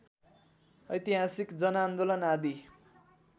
ऐतिहासिक जनआन्दोलन आदि